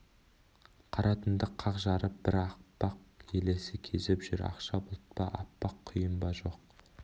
қара түнді қақ жарып бір аппақ елесі кезіп жүр ақша бұлт па аппақ құйын ба жоқ